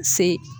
Se